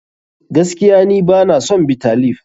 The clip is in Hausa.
Gaskiya ni bana son Bitter leaf.